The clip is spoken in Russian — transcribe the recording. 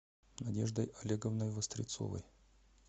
надеждой олеговной вострецовой